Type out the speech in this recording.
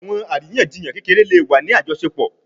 Awọn ariyanjiyan kekere le wa ni ajọṣepọ